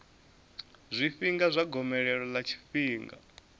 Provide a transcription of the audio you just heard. zwifhinga zwa gomelelo ḽa tshifhinga